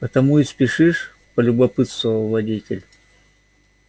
потому и спешишь полюбопытствовал водитель